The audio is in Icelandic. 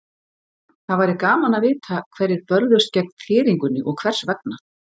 Það væri gaman að vita hverjir börðust gegn þéringunni og hvers vegna.